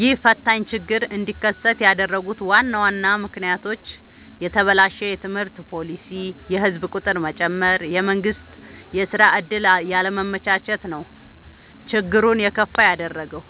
ይህ ፈታኝ ችግር እንዲከሰት ያደረጉት ዋና ዋና ምክንያቶች፦ የተበላሸ የትምህርት ፓሊሲ፣ የህዝብ ቁጥር መጨመር፣ የመንግስት የስራ ዕድል ያለማመቻቸት ነው። ችግሩን የከፋ ያደረገው።